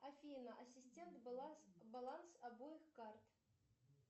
афина ассистент баланс обоих карт